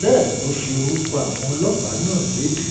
bẹ́ẹ̀ ló fi orúkọ àwọn ọlọ́pàá náà lédè